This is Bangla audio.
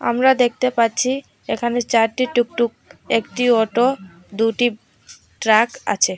আমরা দেখতে পাচ্ছি এখানে চারটি টুকটুক একটি অটো দুটি ট্রাক আছে।